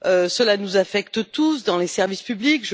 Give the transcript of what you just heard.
Cela nous affecte tous, dans les services publics.